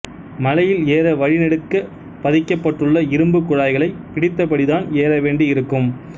மலையில் ஏற வழி நெடுக்க பதிக்கபட்டுள்ள இரும்புக் குழாய்களை பிடித்தபடிதான் ஏறவேண்டி இருக்கும்